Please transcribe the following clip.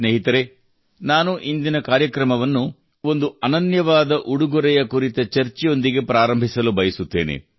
ಸ್ನೇಹಿತರೇ ನಾನು ಇಂದಿನ ಕಾರ್ಯಕ್ರಮವನ್ನು ಒಂದು ಅನನ್ಯವಾದ ಉಡುಗೊರೆಯ ಕುರಿತ ಚರ್ಚೆಯೊಂದಿಗೆ ಪ್ರಾರಂಭಿಸಲು ಬಯಸುತ್ತೇನೆ